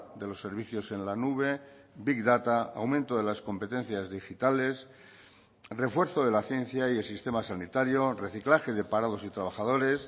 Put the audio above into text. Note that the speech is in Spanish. de los servicios en la nube big data aumento de las competencias digitales refuerzo de la ciencia y el sistema sanitario reciclaje de parados y trabajadores